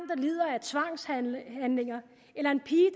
lider af tvangshandlinger eller en pige